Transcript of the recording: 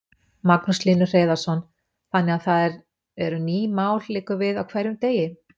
Magnús Hlynur Hreiðarsson: Þannig að það eru ný mál liggur við á hverjum degi?